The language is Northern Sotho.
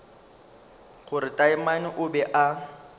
gore taamane o be a